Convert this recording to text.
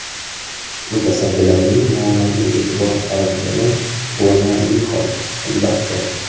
Mutasaddilarning muammoga e’tibor qaratgani quvonarli hol, albatta.